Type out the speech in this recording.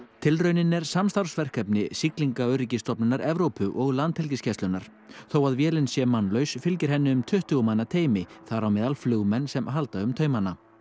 tilraunin er samstarfsverkefni Siglingaöryggisstofnunar Evrópu og Landhelgisgæslunnar þó að vélin sé mannlaus fylgir henni um tuttugu manna teymi þar á meðal flugmenn sem halda um taumana